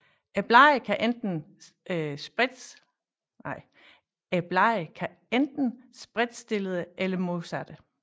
Bladene kan være enten spredtstillede eller modsattte